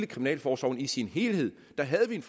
kriminalforsorgen i sin helhed der havde vi en